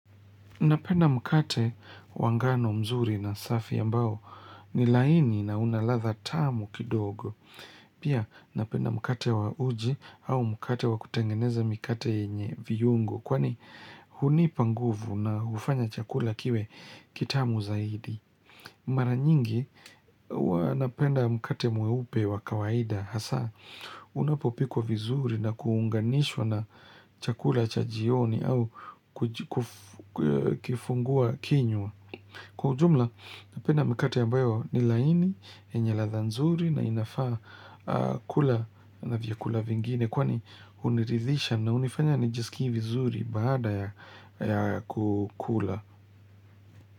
Napenda mkate wa ngano mzuri na safi ambao ni laini na una ladha tamu kidogo. Pia napenda mkate wa uji au mkate wa kutengeneza mikate yenye viungo. Kwani hunipa nguvu na ufanya chakula kiwe kitamu zaidi. Mara nyingi huwa napenda mkate mweupe wa kawaida. Hasa unapopikwa vizuri na kuunganishwa na chakula cha jioni au kifungua kinywa Kwa ujumla napenda mikate ambayo ni laini, yenye ladha nzuri na inafaa kula na vyakula vingine Kwani uniridhisha na unifanya nijisikivi vizuri baada ya kukula.